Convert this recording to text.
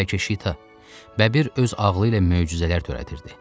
Bəlkə Şita, bəbir öz ağlı ilə möcüzələr törədirdi.